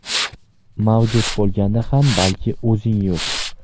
Mavjud bo‘lganda ham balki o‘zing yo‘q.